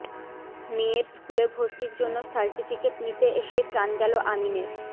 মেয়ের স্কুলে ভর্তির জন্য সার্টিফিকেট নিতে এসেই প্রাণ গেল আমিনের